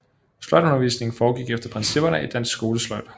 Sløjdundervisningen foregik efter principperne i Dansk Skolesløjd